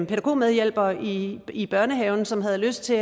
pædagogmedhjælper i i børnehaven som havde lyst til